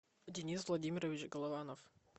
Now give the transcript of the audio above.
денис владимирович голованов